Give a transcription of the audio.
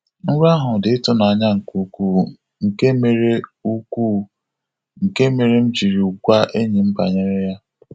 Nrọ ahụ dị ịtụnanya nke ukwu, nke mere ukwu, nke mere m jiri gwa enyi m banyere ya.